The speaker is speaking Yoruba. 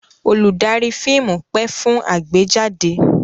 Olùdarí fíìmù pẹ́ fún àgbéjáde.